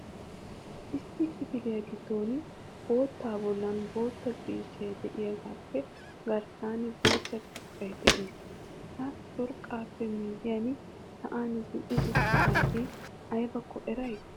Issi kifiliya giddon boottaba bolli bootta ciishshay de'iyaagappe garssan bootta curqqay de'ees. Ha curqqappe miyyiyaan sa'an zin"i uttidaage aybbakko eray?